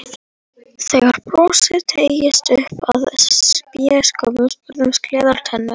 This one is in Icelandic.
Þegar brosið teygðist upp að spékoppunum birtust gleiðar tennur.